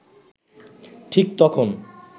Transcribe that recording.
ঠিক তখন